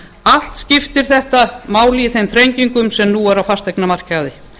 allt skiptir þetta máli í þeim þrengingum sem nú eru á fasteignamarkaði